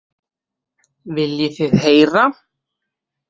Viljið þið heyra?